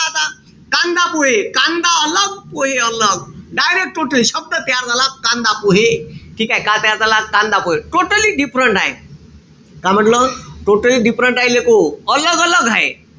आता. कांदा-पोहे. कांदा पोहे direct total शब्द तयार झाला कांदा-पोहे. ठीकेय? काय तयार झाला? कांदा-पोहे. Totally different आहे. का म्हंटल? totally different लेकहो. आहे.